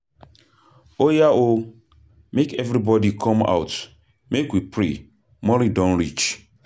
Oya oo, make everybody come out make we pray morning don reach.